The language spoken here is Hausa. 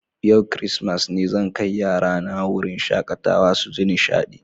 Yau kiristimeti ne, zan kai yarana wurin shakatawa su ji nishaɗi.